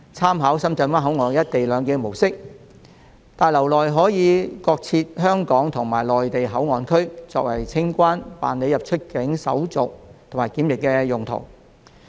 按深圳灣口岸實施"一地兩檢"的模式，新大樓將各設香港和內地口岸區，作為清關、辦理出入境手續及檢疫的用途。